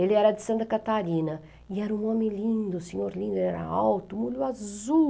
Ele era de Santa Catarina e era um homem lindo, senhor lindo, ele era alto, olho azul.